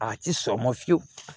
A ti sɔn o ma fiyewu